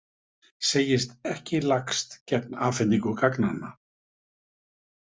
Segist ekki lagst gegn afhendingu gagnanna